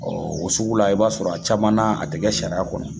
o sugu la i b'a sɔrɔ a caman na a tɛ kɛ sariya kɔnɔ.